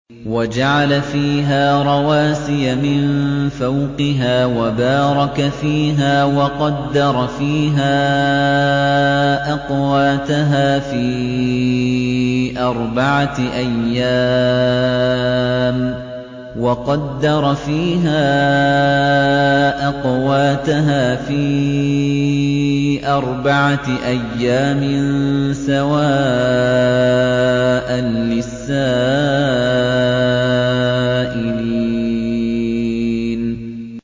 وَجَعَلَ فِيهَا رَوَاسِيَ مِن فَوْقِهَا وَبَارَكَ فِيهَا وَقَدَّرَ فِيهَا أَقْوَاتَهَا فِي أَرْبَعَةِ أَيَّامٍ سَوَاءً لِّلسَّائِلِينَ